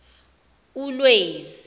ulwezi